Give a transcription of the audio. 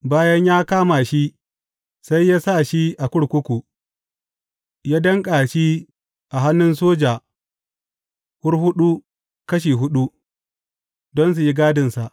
Bayan ya kama shi, sai ya sa shi a kurkuku, ya danƙa shi a hannun soja hurhuɗu kashi huɗu, don su yi gadinsa.